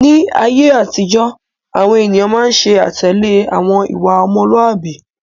Ni ayé àtijọ́, àwọn ènìyàn máa ń ṣe àtẹ̀lé àwọn ìwà ọmọlúàbí.